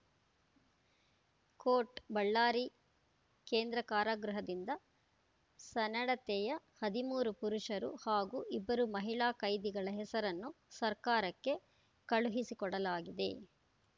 coat Ballari ಕೇಂದ್ರ ಕಾರಾಗೃಹದಿಂದ ಸನ್ನಡತೆಯ ಹದಿಮೂರು ಪುರುಷರು ಹಾಗೂ ಇಬ್ಬರು ಮಹಿಳಾ ಕೈದಿಗಳ ಹೆಸರನ್ನು ಸರ್ಕಾರಕ್ಕೆ ಕಳುಹಿಸಿಕೊಡಲಾಗಿದೆ